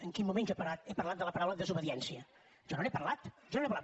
en quin moment jo he parlat de la paraula desobediència jo no n’he parlat jo no n’he parlat